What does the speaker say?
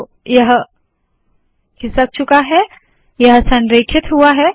तो यह खिसक चूका है यह संरेखित हुआ है